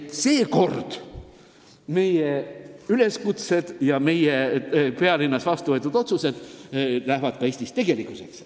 –, et seekord meie üleskutsed ja meie pealinnas vastu võetud otsused Eestis ka ellu viiakse.